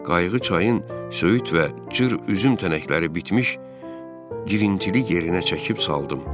Qayığı çayın söyüd və cır üzüm tənəkləri bitmiş girintili yerinə çəkib saldım.